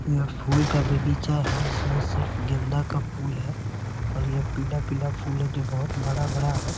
यह फूल का बगीचा है एंड इसमें सिर्फ गेंदा का फूल है और यह पीला-पीला फूल है जो बहुत बड़ा-बड़ा है ।